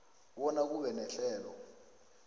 bona kube nehlelo